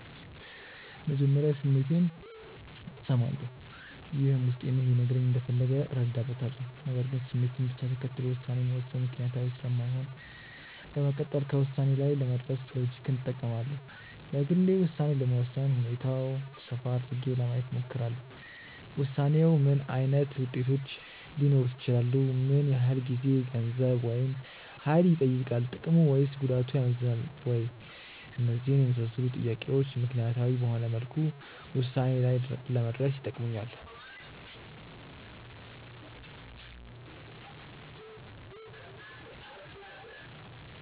መጀመሪያ ስሜቴን እሰማለሁ። ይህም ውስጤ ምን ሊነግረኝ እንደፈለገ እረዳበታለሁ። ነገር ግን ስሜትን ብቻ ተከትሎ ውሳኔ መወሰን ምክንያታዊ ስለማይሆን በመቀጠል ከውሳኔ ላይ ለመድረስ ሎጂክን እጠቀማለሁ። በግሌ ውሳኔ ለመወሰን ሁኔታውን ሰፋ አድርጌ ለማየት እሞክራለሁ። ውሳኔው ምን ዓይነት ውጤቶች ሊኖሩት ይችላሉ? ምን ያህል ጊዜ፣ ገንዘብ፣ ወይም ሀይል ይጠይቃል። ጥቅሙ ወይስ ጉዳቱ ያመዝናል ወይ? እነዚህን የመሳሰሉ ጥያቄዎች ምክንያታዊ በሆነ መልኩ ውሳኔ ላይ ለመድረስ ይጠቅሙኛል።